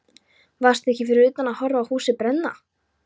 Varstu ekki fyrir utan að horfa á húsið brenna?